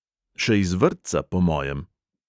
Še iz vrtca, po mojem.